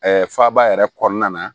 faaba yɛrɛ kɔnɔna na